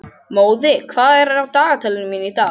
Móði, hvað er á dagatalinu mínu í dag?